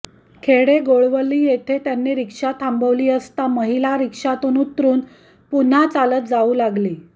खडेगोळवली येथे त्यांनी रिक्षा थांबवली असता महिला रिक्षातून उतरून पुन्हा चालत जाऊ लागली